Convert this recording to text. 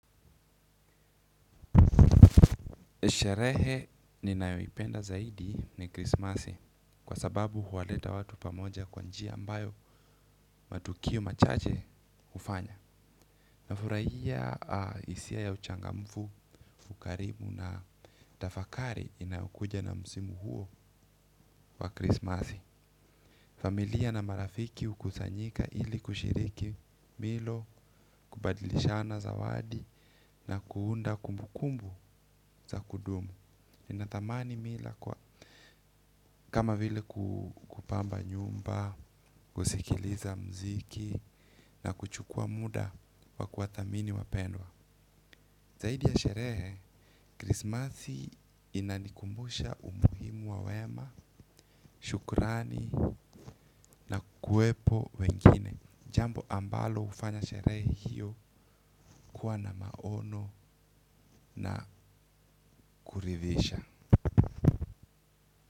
Sherehe ni nayoipenda zaidi ni krismasi kwa sababu huwaleta watu pamoja kwa njia ambayo matukio machache hufanya. Na furaia isia ya uchangamfu, fukarimu na tafakari inayokuja na msimo huo wa krismasi. Familia na marafiki hukusanyika ili kushiriki milo, kubadilishana zawadi na kuunda kumbukumbu za kudumu. Ninadhamani mila kwa kama vile kupamba nyumba kusikiliza mziki na kuchukua muda wa kuwadhamini wapendwa zaidi ya sherehe krismasi inanikumbusha umuhimu wa wema shukrani na kuwepo wengine jambo ambalo hufanya sherehe hio kua na maono na kuridhisha.